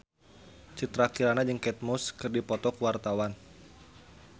Citra Kirana jeung Kate Moss keur dipoto ku wartawan